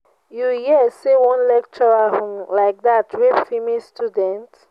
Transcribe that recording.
you hear say one lecturer um like dat rape female student?